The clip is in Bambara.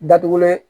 Datugulen